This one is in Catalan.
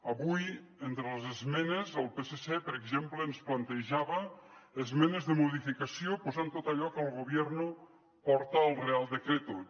avui entre les esmenes el psc per exemple ens plantejava esmenes de modificació posant tot allò que el gobierno porta al real decreto